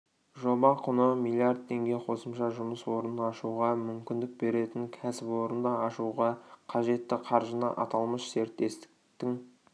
жоба құны миллиард теңге қосымша жұмыс орнын ашуға мүмкіндік беретін кәсіпорынды ашуға қажетті қаржыны аталмыш серіктестіктің